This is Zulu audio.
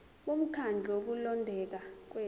bomkhandlu wokulondeka kwethu